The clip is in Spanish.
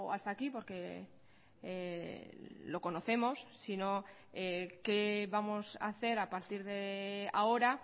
hasta aquí porque lo conocemos sino qué vamos a hacer a partir de ahora